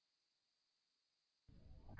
अब enter दबायें